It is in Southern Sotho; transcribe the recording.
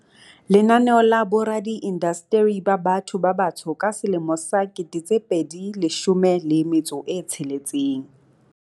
Lenaneo la Boradi indasteri ba Batho ba Batsho ka 2016.